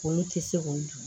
Olu tɛ se k'o dun